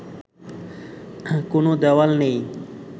কোনো দেয়াল নেই